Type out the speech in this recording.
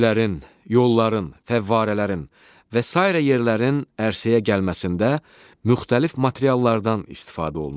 Evlərin, yolların, fəvvarələrin və sairə yerlərin ərsəyə gəlməsində müxtəlif materiallardan istifadə olunur.